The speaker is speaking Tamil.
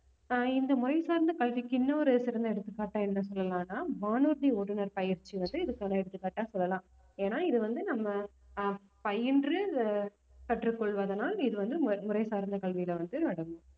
இப்ப இந்த மொழி சார்ந்த கல்விக்கு இன்னொரு சிறந்த எடுத்துக்காட்டா என்ன சொல்லலாம்னா வானூர்தி ஓட்டுநர் பயிற்சி வந்து இதுக்கான எடுத்துக்காட்டா சொல்லலாம் ஏன்னா இது வந்து நம்ம ஆஹ் பயின்று ஆஹ் கற்றுக் கொள்வதனால் இது வந்து மு~ முறை சார்ந்த கல்வியில வந்து அடங்கும்